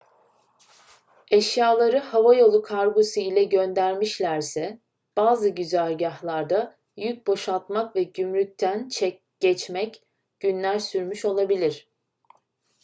eşyaları havayolu kargosu ile göndermişlerse bazı güzergâhlarda yük boşaltmak ve gümrükten geçmek günler sürmüş olabilir